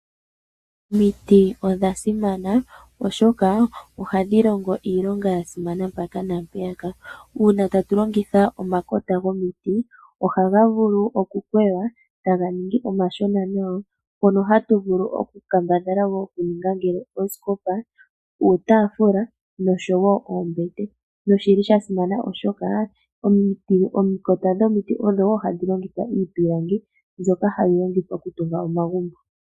Omiti odha simana, oshoka ohadhi longo iilonga ya simana mpaka naa mpeyaka. Uuna tatu longitha omakota gomiti ohaga vulu okukweywa e taga ningi omashona nawa mono hatu kambadhala okuninga oosikopa, uutaafula nosho wo oombete. Osha simana oshoka omakota gomiti ogo wo haga longithwa iipilangi mbyoka hayi longithwa okutunga omagumbo.